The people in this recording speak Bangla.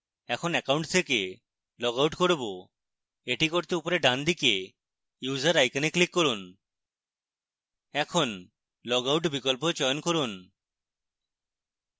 এখন account থেকে লগ আউট করব এটি করতে উপরের ডানদিকে user icon we click করুন